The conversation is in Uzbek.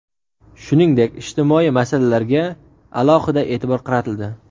Shuningdek, ijtimoiy masalalarga alohida e’tibor qaratildi.